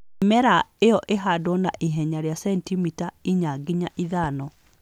Mĩmera ĩyo ĩhandwo na ihenya rĩa sentimita inya nginya ithano.